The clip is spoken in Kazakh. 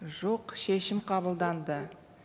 жоқ шешім қабылданды